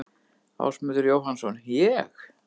Ásmundur Jóhannsson: Ég?